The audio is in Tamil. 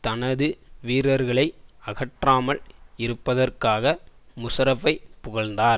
தனது வீரர்களை அகற்றாமல் இருப்பதற்காக முஷாரப்பை புகழ்ந்தார்